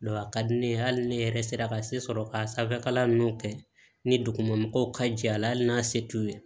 a ka di ne ye hali ne yɛrɛ sera ka se sɔrɔ ka sanfɛkalan nunnu kɛ ni dugu ma mɔgɔw ka jɛ a la hali n'a se t'u ye